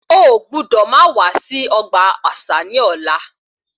O gbúdò máa wá sí ọgbà àṣà ní ọ̀la